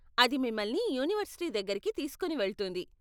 అది మిమ్మల్ని యూనివర్సిటీ దగ్గరికి తీసుకొని వెళ్తుంది.